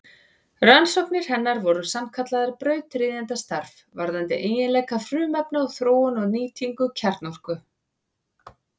Rannsóknir hennar voru sannkallað brautryðjendastarf varðandi eiginleika frumefna og þróun og nýtingu kjarnorku.